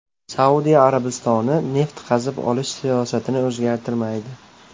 Saudiya Arabistoni neft qazib olish siyosatini o‘zgartirmaydi.